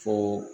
Fo